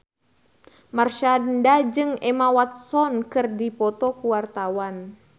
Marshanda jeung Emma Watson keur dipoto ku wartawan